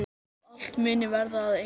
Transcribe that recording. Að allt muni verða að einu.